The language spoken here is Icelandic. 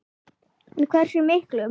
En hversu miklum?